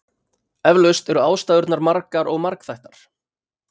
Eflaust eru ástæðurnar margar og margþættar.